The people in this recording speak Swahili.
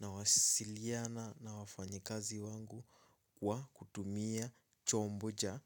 Nawasiliana na wafanyikazi wangu kwa kutumia chombo cha